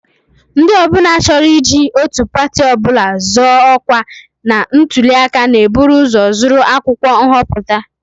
Ndị ọ bụla chọrọ iji otu pati ọ bụla zọọ ọkwa na ntụli aka na-eburu ụzọ zụrụ akwụkwọ nhọpụta